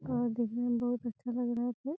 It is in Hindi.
और दिखने में बोहुत अच्छा लग रहा है फिर --